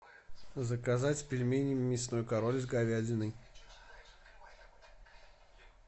заказать пельмени мясной король с говядиной